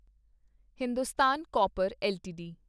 Hindustan copper LTD